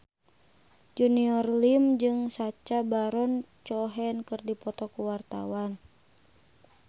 Junior Liem jeung Sacha Baron Cohen keur dipoto ku wartawan